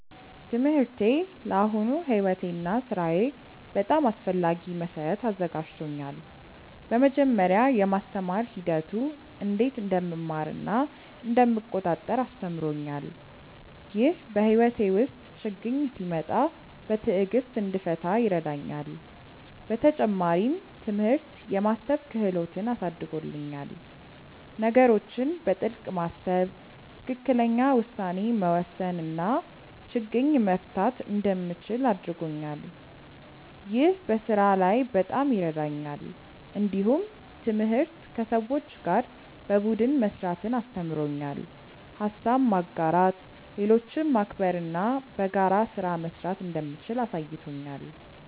ትምህርቴ ለአሁኑ ሕይወቴ እና ሥራዬ በጣም አስፈላጊ መሠረት አዘጋጅቶኛል። በመጀመሪያ፣ የማስተማር ሂደቱ እንዴት እንደምማር እና እንደምቆጣጠር አስተምሮኛል። ይህ በሕይወቴ ውስጥ ችግኝ ሲመጣ በትዕግሥት እንድፈታ ይረዳኛል። በተጨማሪም፣ ትምህርት የማሰብ ክህሎትን አሳድጎልኛል። ነገሮችን በጥልቅ ማሰብ፣ ትክክለኛ ውሳኔ መውሰድ እና ችግኝ መፍታት እንደምችል አድርጎኛል። ይህ በስራ ላይ በጣም ይረዳኛል። እንዲሁም ትምህርት ከሰዎች ጋር በቡድን መስራትን አስተምሮኛል። ሀሳብ ማጋራት፣ ሌሎችን ማክበር እና በጋራ ስራ መስራት እንደምችል አሳይቶኛል።